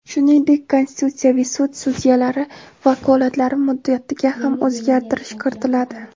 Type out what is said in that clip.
Shuningdek, konstitutsiyaviy sud sudyalari vakolatlari muddatiga ham o‘zgartirish kiritiladi.